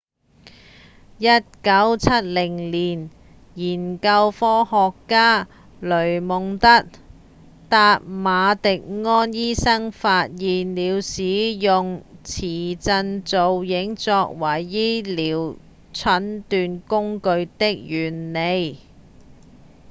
1970年研究科學家雷蒙德．達馬迪安醫生發現了使用磁振造影作為醫療診斷工具的原理